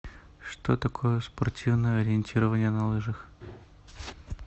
что такое спортивное ориентирование на лыжах